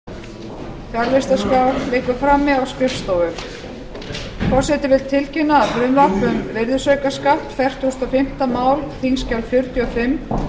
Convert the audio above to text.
forseti vill tilkynna að frumvarp um virðisaukaskatt fertugasta og fimmta mál þingskjal fjörutíu og fimm frá